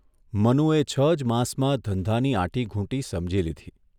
મનુએ છ જ માસમાં ધંધાની આંટીઘૂંટી સમજી લીધી.